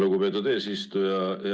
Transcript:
Lugupeetud eesistuja!